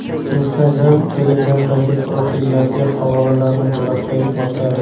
Instagram Telegram’dagi profillarga havolalarni bloklay boshladi.